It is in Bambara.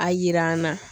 A yira an na